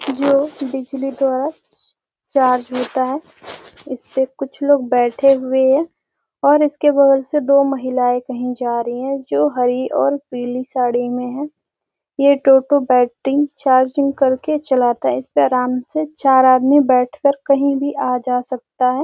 जो बिजली द्वारा चार्ज होता है इसपे कुछ लोग बैठे हुये हैं और इसके बगल से दो महिलाएं कहीं जा रही है जो हरी और पीली साड़ी में है। ये टोटो बैटिंग चार्जिंग करके चलाता है इसपे आराम से चार आदमी बैठ कर कही भी आ जा सकता है।